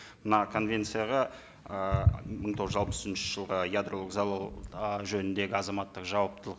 мына конвенцияға ыыы мың тоғыз жүз алпыс үшінші жылғы ядролық залал ы жөніндегі азаматтық жауаптылық